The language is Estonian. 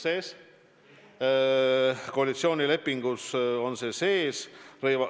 See on koalitsioonilepingus sees.